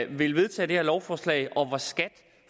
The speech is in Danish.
vil vedtage det her lovforslag og hvor skat